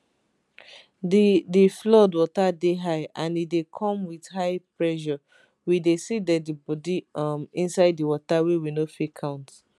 di di flood water dey high and e dey come wit high pressure we dey see deadibodi um inside di water wey we no fit count